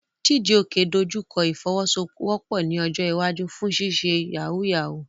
Chijioke dojú kọ ìfọwọ́sowọ́pọ̀ ní ọjọ́ iwájú fún ṣíṣe yahoo yahoo.